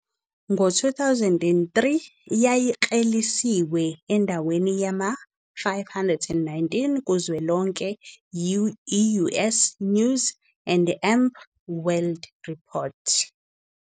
Ngo-2013 yayikleliswe endaweni yama-519 kuzwelonke yi- "US News and World Report."